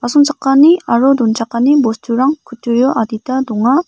aro donchakani bosturang kutturio adita donga.